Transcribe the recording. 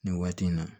Nin waati in na